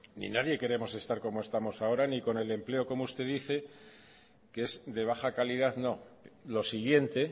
y nadie queremos estar como estamos ahora ni con el empleo como usted dice que es de baja calidad no lo siguiente